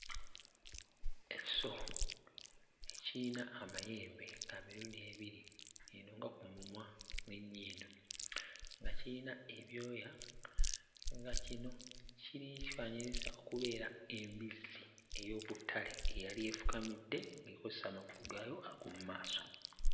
Ekisolo kiyina amayembe ga mirundi ebiri eno nga ku mumwa n'ennyindo, nga kiyina ebyoya nga kino kiri kyefaananyiriza okubeera embizzi ey'oku ttale eyali efukamidde ng'ekozesa amagulu gaayo ag'omu maaso.